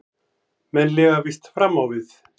Menn lifa víst fram á við.